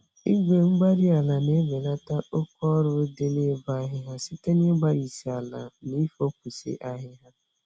Igwe-mgbárí-ala na-ebelata oke-ọrụ dị n'ịbọ ahịhịa site n'ịgbarisi ala na ifopụsị ahịhịa.